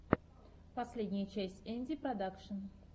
последняя часть энди продакшн